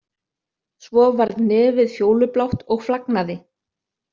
Svo varð nefið fjólublátt og flagnaði.